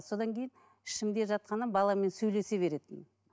содан кейін ішімде жатқанда баламмен сөйлесе беретінмін